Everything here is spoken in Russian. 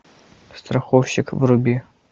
страховщик вруби